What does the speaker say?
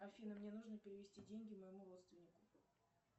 афина мне нужно перевести деньги моему родственнику